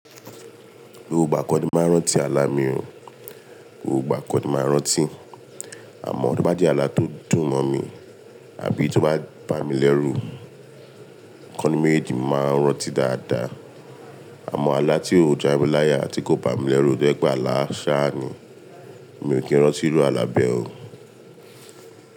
Gbogbo igba kọni máa ń rántí ààlà mi, gbogbo igbà kọni máa ń rántí. Àmọ́ tóbá jẹ́ ààlà tó dùn mọ̀ mi àbí tí ó bá bámi lẹ́rù, ikọninu méjèèjì máa ń rántí dáadáa. Àmọ́ ààlà tí ó jámi láyà ti kó bá mi lẹ́rù tojẹ́ pé ààlà Sàhání, mi ò kí ń rántí eru àlà bẹ́ẹ̀ o.